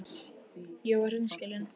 Ég var hreinskilin.